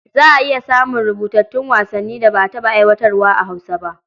Za a iya samun rubutattun wasannin da ba a taɓa aiwatarwa a Hausa ba.